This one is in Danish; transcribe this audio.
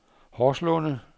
Horslunde